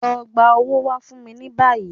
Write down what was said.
Lọ gba owó wá fún mi ní báńkì